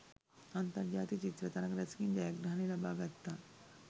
අන්තර් ජාතික චිත්‍ර තරග රැසකින් ජයග්‍රහණ ලබා ගත්තා